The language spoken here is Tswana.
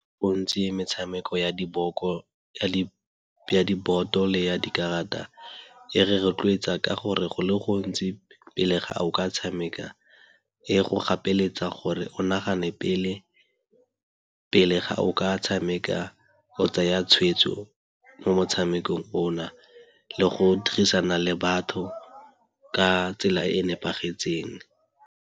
Gontsi metshameko ya diboto le ya dikarata e re rotloetsa ka gore go le gontsi pele ga a o ka tshameka e go gapeletsege gore o nagane pele, pele ga o ka tshameka, go tsaya tshweetso mo motshamekong ona le go dirisana le batho ka tsela e e nepagetseng.